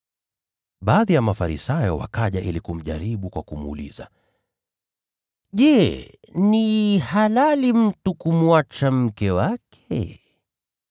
Baadhi ya Mafarisayo wakaja ili kumjaribu kwa kumuuliza, “Je, ni halali mtu kumwacha mke wake?”